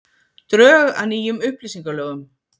Drög að nýjum upplýsingalögum